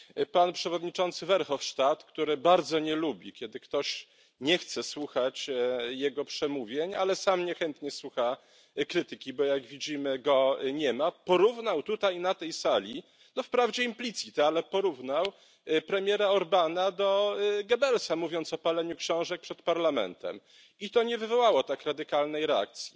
Pan przewodniczący Verhofstadt, który bardzo nie lubi kiedy ktoś nie chce słuchać jego przemówień, ale sam niechętnie słucha krytyki, bo jak widzimy nie ma go tutaj, porównał na tej sali, no wprawdzie implicit, ale porównał premiera Orbána do Goebbelsa, mówiąc o paleniu książek przed parlamentem, i to nie wywołało tak radykalnej reakcji.